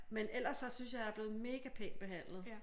Men ellers så synes jeg jeg er blevet mega pænt behandlet